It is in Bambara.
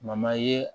ye